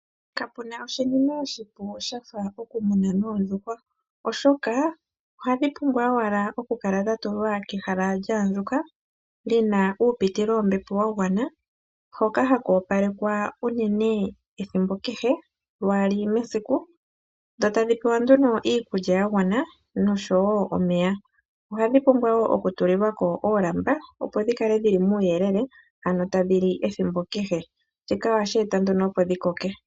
Kapuna oshinima oshipu shafa okumuna noondjuhwa. Oshoka ohadhipumbwa owala okukala dhatulwa kehala lyaandjuka, lina uupitilo wombepo wagwana, hoka hakoopalekwa unene ethimbo kehe, lwaali mesiku, dhotadhi pewa nduno iikulya yagwana nosho woo omeya. Ohadhipumbwa wo okutulilwako oolamba opo dhikale dhili muuyelele ano tadhili ethimbo kehe. Shika ohasheta nduno opo dhikoke.